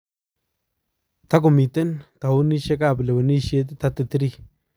Takomiten towunishek ab lewenisheet 33 kotomo kobarasta walutiet ak chename eun demokrasia